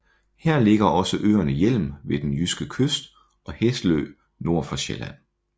Her ligger også øerne Hjelm ved den jyske kyst og Hesselø nord for Sjælland